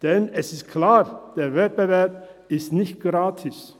Denn es ist klar, der Wettbewerb ist nicht gratis.